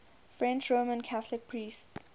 french roman catholic priests